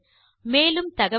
மேலும் தகவல்களுக்கு